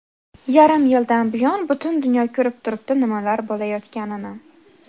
Yarim yildan buyon butun dunyo ko‘rib turibdi nimalar bo‘layotganini.